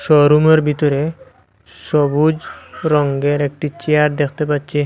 ও room -এর বিতরে সবুজ রঙ্গের একটি চেয়ার দ্যাখতে পাচ্চি।